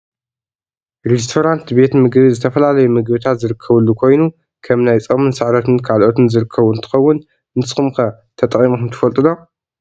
ሬስቶራንት ቤት ምግቢ ዝተፈላለዩ ምግብታት ዝርከብሉ ኮይኑ ከም ናይ ፆምን ስዕረትን ካልኦትን ዝረከቡ እንትከውን፣ ንስኩም ከ ተጠቂምኩም ትፈልጡ ዶ ?